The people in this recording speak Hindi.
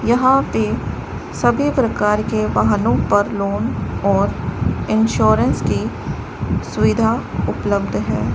यहां पे सभी प्रकार के वाहनों पर लोन और इंश्योरेंस की सुविधा उपलब्ध है।